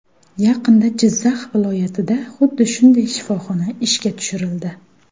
Yaqinda Jizzax viloyatida xuddi shunday shifoxona ishga tushirildi.